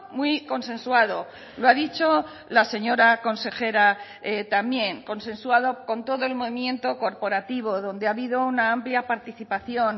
muy consensuado lo ha dicho la señora consejera también consensuado con todo el movimiento corporativo donde ha habido una amplia participación